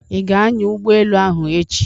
Ị ga-ányà ụgbọ elụ ahụ echi?